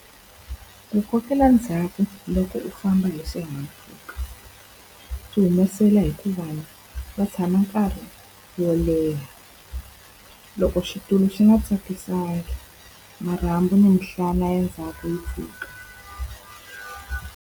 Ku kokela ndzhaku loko u famba hi xihahampfhuka, swi humesela hikuva va tshama nkarhi wo leha. Loko xitulu swi nga tsakisangi, marhambu ni minhlana ya ndzhaku yi pfuka.